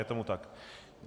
Je tomu tak.